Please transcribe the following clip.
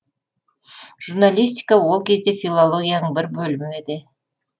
журналистика ол кезде филологияның бір бөлімі еді